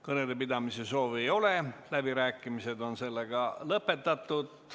Kõnede pidamise soove ei ole, läbirääkimised on sellega lõpetatud.